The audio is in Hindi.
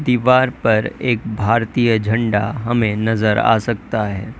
दीवार पर एक भारतीय झंडा हमें नजर आ सकता है।